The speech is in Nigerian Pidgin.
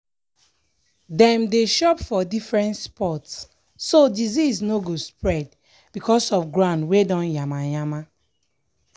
dem dey chop for different spot so disease no go spread because of ground wey don yama yama